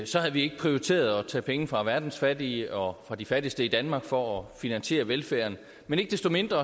så havde vi ikke prioriteret at tage penge fra verdens fattige og fra de fattigste i danmark for at finansiere velfærden men ikke desto mindre